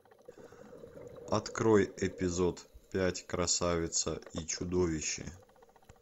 открой эпизод пять красавица и чудовище